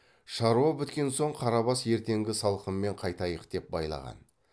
шаруа біткен соң қарабас ертеңгі салқынмен қайтайық деп байлаған